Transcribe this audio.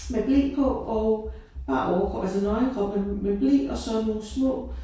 Med ble på og bar overkrop altså nøgen krop med med ble og så nogle små